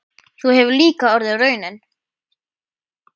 Sú hefur líka orðið raunin.